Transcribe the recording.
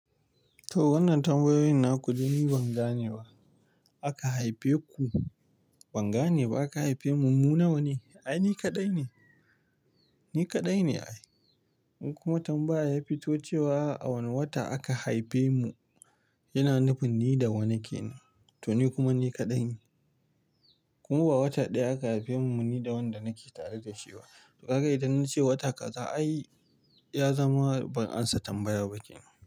To, wannan tambayoyin na ku de ni ban gane wa. Aka haife ku,? Ban gane ba aka haife mu mu nawa ne? Ai ni kaɗai ne, ni kaɗai ne ai. Inkuma tambaya ya fito cewa, a wane wata aka haife mu, yana nufin ni da wane kenan. To ni kuma ni kaɗai ne. Kuma ba wata ɗaya aka haife mu, ni da wanda nake tare da shi ba. To kaga idan na ce wata ƙaza ai, ya zama ban ansa tambaya ba kenan.